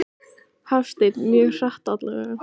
Hafsteinn: Mjög hratt allavega?